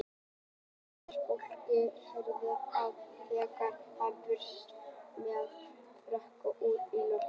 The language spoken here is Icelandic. Full stofa af fólki hreyfði mótmælum þegar hann brunaði fram með frakkalöfin út í loftið.